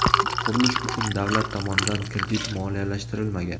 Qurilish uchun davlat tomonidan kredit moliyalashtirilmagan.